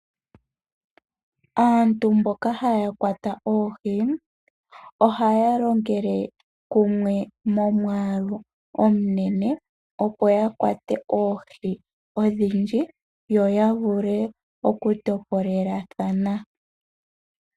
Aantu mboka haya kwata oohi ohaya longele kumwe mo mwaalu omunene opo ya kwate oohi odhindji yo ya vule oku topolelathana.